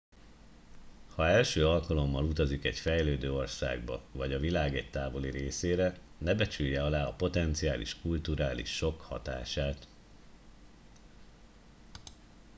ha első alkalommal utazik egy fejlődő országba vagy a világ egy távoli részére ne becsülje alá a potenciális kulturális sokk hatását